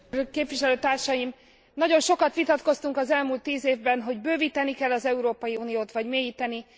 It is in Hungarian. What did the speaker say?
Tisztelt képviselőtársaim! Nagyon sokat vitatkoztunk az elmúlt tíz évben, hogy bővíteni kell e az Európai Uniót vagy mélyíteni.